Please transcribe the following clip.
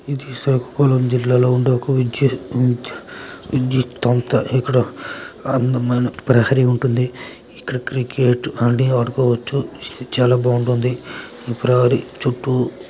ఇది శ్రీకాకుళం జిల్లాలో ఉంది. ఇక్కడ అందమైన ప్రహరీ ఉంటుంది. ఇక్కడ క్రికెట్ అన్ని ఆడుకోవచ్చు. చాలా బాగుంటుంది. ప్రహరీ చుట్టూ--